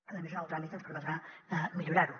a més en el tràmit ens permetrà millorar ho